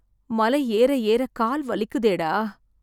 மலை ஏற ஏற கால் வலிக்குதேடா...